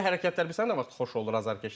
Elə hərəkətlər bilirsən nə vaxt xoş olur azərkeşə?